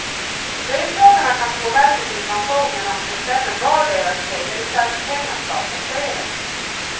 Löntagarna kan påverka sin pension genom att bestämma var deras premiereservspengar ska placeras.